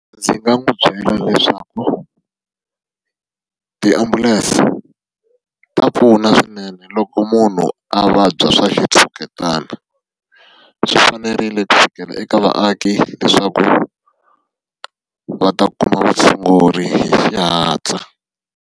Ndzi nga n'wi byela leswaku, tiambulense ta pfuna swinene loko munhu a vabya swa xitshuketana. Swi fanerile kusukela eka vaaki leswaku va ta kuma vutshunguri hi xihatla.